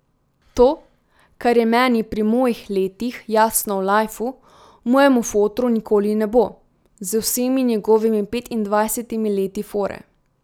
To, kar je meni pri mojih letih jasno o lajfu, mojemu fotru nikoli ne bo, z vsemi njegovimi petindvajsetimi leti fore.